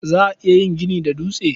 Za a iya yin gini da dutse.